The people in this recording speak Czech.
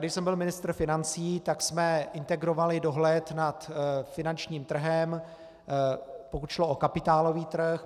Když jsem byl ministr financí, tak jsme integrovali dohled nad finančním trhem, pokud šlo o kapitálový trh.